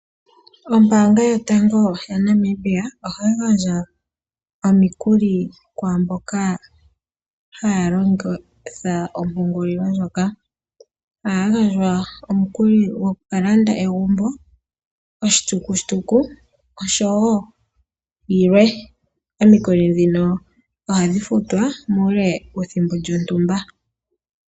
Ombaanga yotango yaNamibia oha yi gandja omikulli kwaamboka ha ya longitha ompungulilo ndjoka. Oha ya gandja omikuli dhoku landa egumbo, oshitukutuku osho woo yilwe. Omikuli dhino oha dhi futwa muule wethimbo lyontumba.